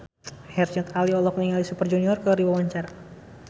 Herjunot Ali olohok ningali Super Junior keur diwawancara